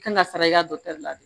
Kan ka sara i ka la